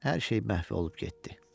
Hər şey məhv olub getdi.